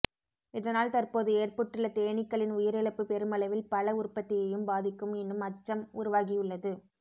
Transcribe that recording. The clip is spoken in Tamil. இதனால் தற்போது ஏற்பட்டுள்ள தேனீக்களின் உயிரிழப்பு பெருமளவில் பழ உற்பத்தியையும் பாதிக்கும் என்னும் அச்சம் உருவாகியுள்ளது